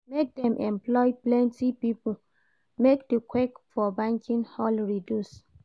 Make dem employ plenty pipo make di queue for banking hall reduce.